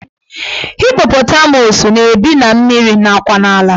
Hippotamus na-ebi na mmiri nakwa n'ala